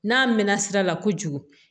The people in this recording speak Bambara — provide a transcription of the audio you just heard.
N'a mɛn na sira la kojugu